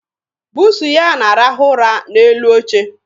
Buusu ya na-arahụ ụra n'elu oche.